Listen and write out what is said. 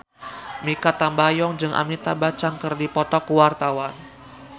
Mikha Tambayong jeung Amitabh Bachchan keur dipoto ku wartawan